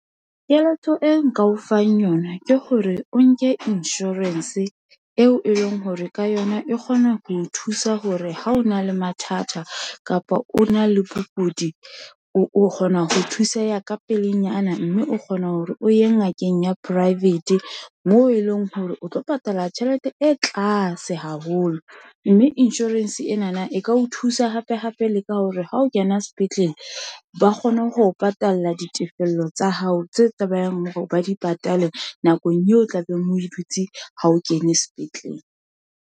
Keletso e nka o fang yona, ke hore o nke insurance eo e leng hore ka yona, e kgona ho o thusa hore ha o na le mathata, kapa o na le bokudi, o kgona ho thuseha ka pelenyana, mme o kgona hore o ye ngakeng ya private, moo e leng hore o tlo patala tjhelete e tlase haholo, mme insurance enana e ka o thusa thusa hape, hape le ka hore ha o kena sepetlele, ba kgone ho patala ditefello tsa hao, tse tsebahalang hore ba di patale. Nakong eo o tlabeng o e dutse ha o kene sepetlele.